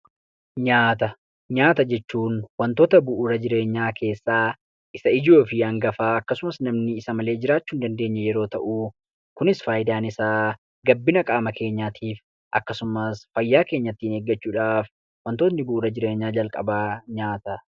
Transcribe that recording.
Nyaata, nyaata jechuun wantoota bu'uura jireenyaa keessaa isa ijoofi hangafaa akkasumas namni isa malee jiraachuu hin dandeenye yeroo ta'u, kunis faayidaan isaa gabbina qaama keenyaatiif akkasumas fayyaa keenya ittiin eeggachuudhaaf wantootni bu'uura jireenyaa jalqabaa nyaata.